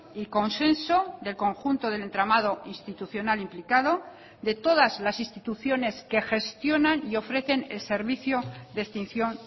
y consenso del conjunto del entramado institucional implicado de todas las instituciones que gestionan y ofrecen el servicio de extinción